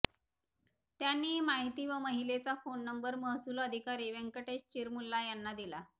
त्यांनी ही माहिती व महिलेचा फोन नंबर महसुल अधिकारी व्यंकटेश चिरमुल्ला यांना दिला